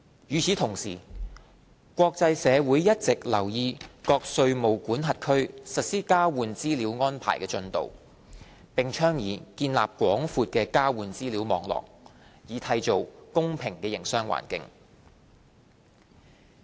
與此同時，國際社會一直留意各稅務管轄區實施交換資料安排的進度，並倡議建立廣闊的交換資料網絡，以締造公平的營商環境。